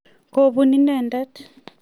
kobun inendet.